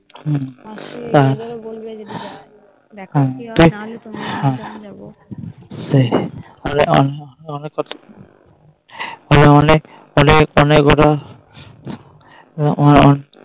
মাসি এবারো বলবে